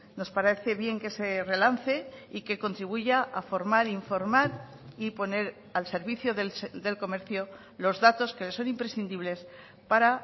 nos parece bien que se relance y que contribuya a formar informar y poner al servicio del comercio los datos que le son imprescindibles para